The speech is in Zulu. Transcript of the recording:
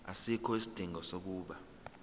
asikho isidingo sokuba